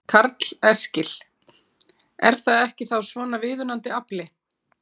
Karl Eskil: Er það ekki þá svona viðunandi afli?